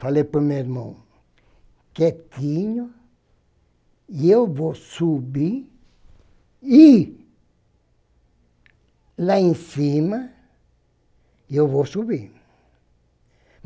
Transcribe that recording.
Falei para o meu irmão, quietinho, e eu vou subir e lá em cima eu vou subir.